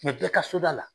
bɛɛ ka so da la